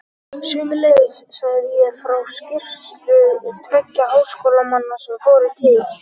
Sömuleiðis sagði ég frá skýrslu tveggja háskólamanna sem fóru til